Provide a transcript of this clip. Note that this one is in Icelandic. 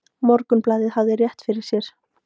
Morgunblaðið hafði rétt fyrir sér.